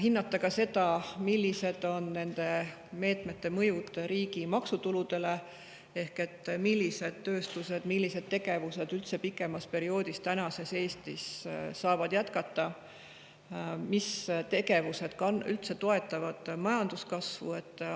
Hinnata tuleks ka seda, millised on nende meetmete mõjud riigi maksutuludele ehk millised tööstused ja millised tegevused üldse pikemas perioodis saavad Eestis jätkata, mis tegevused üldse toetavad majanduskasvu.